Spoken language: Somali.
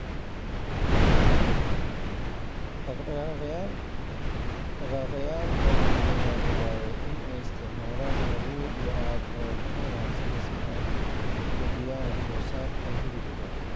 Dhaqaaqayaal badan ayaa bilaabay in ay isticmaalaan abuur lo'aad oo ka wanaagsan si ay u kordhiyaan wax soo saarka hilibka.